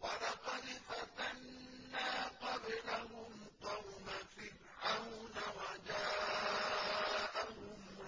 ۞ وَلَقَدْ فَتَنَّا قَبْلَهُمْ قَوْمَ فِرْعَوْنَ وَجَاءَهُمْ